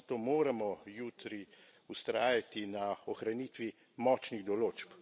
Zato moramo jutri vztrajati na ohranitvi močnih določb.